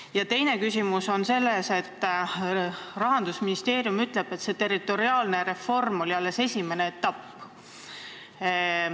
Ja teine küsimus on selle kohta, et Rahandusministeeriumi kinnitusel oli see territoriaalne reform alles esimene etapp.